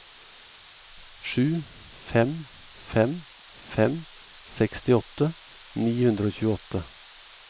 sju fem fem fem sekstiåtte ni hundre og tjueåtte